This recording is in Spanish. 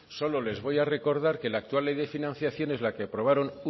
solo les voy a recordar que la actual ley de financiación es la que aprobaron